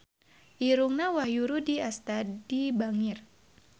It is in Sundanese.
Irungna Wahyu Rudi Astadi bangir